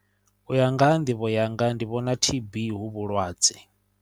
U ya nga ha nḓivho yanga ndi vhona T_B hu vhulwadze.